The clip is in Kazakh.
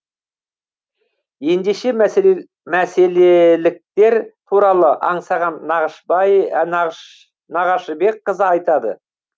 ендеше мәселеліктер туралы аңсаған нағашыбекқызы айтады